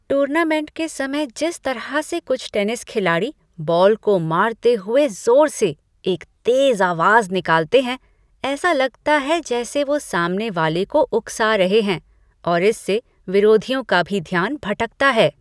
Tournament के समय जिस तरह से कुछ टेनिस खिलाड़ी बॉल को मारते हुए ज़ोर से एक तेज़ आवाज़ निकालते हैं, ऐसा लगता है जैसे वो सामने वाले को उकसा रहे हैं और इससे विरोधियों का भी ध्यान भटकता है।